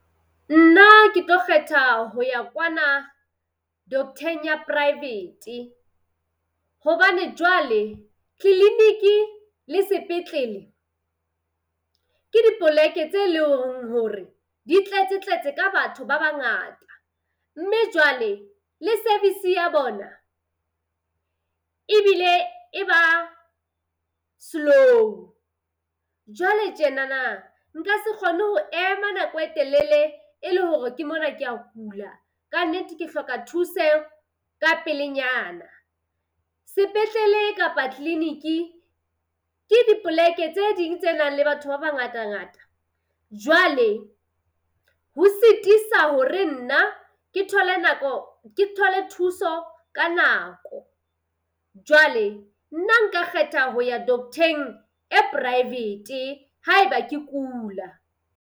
Nna ke tlo kgetha ho ya kwana doktheng ya private. Hobane jwale tleleniki le sepetlele ke dipoleke tse hore di tletse tletse ka batho ba bangata. Mme jwale le service ya bona ebile e ba slow. Jwale tjenana nka se kgone ho ema nako e telele e le hore ke mona kea kula ka nnete ke hloka thuseho ka pelenyana. Sepetlele kapa tleleniki ke dipoleke tse ding tse nang le batho ba bangata ngata. Jwale ho sitisa hore nna ke thole nako, ke thole thuso ka nako. Jwale nna nka kgetha ho ya doctheng e private haeba ke kula.